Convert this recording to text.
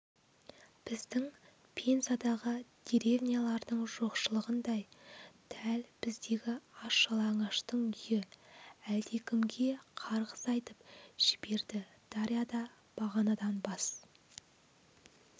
біздің пензадағы деревнялардың жоқшылығындай дәл біздегі аш-жалаңаштың үйі әлдекімге қарғыс айтып жіберді дарья да бағанадан бас